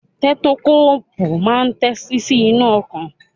Tẹ́tókóòpù máa ń tẹ́tí sí ìlù ọkàn.